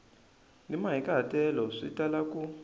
ni mahikahatelo swi tala ku